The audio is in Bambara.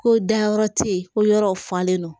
Ko dayɔrɔ ti ye ko yɔrɔw falen don